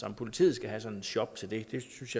om politiet skal have sådan en shop til det jeg synes